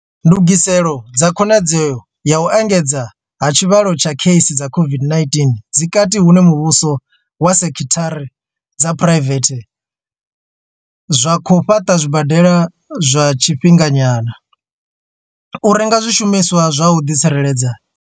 Ndungiselo dza khonadzeo ya u engedzea ha tshivhalo tsha kheisi dza COVID-19 dzi kati hune muvhuso na sekithara dza phuraivethe zwa khou fhaṱa zwibadela zwa tshifhinganyana, u renga zwishumiswa zwa u ḓi tsireledza.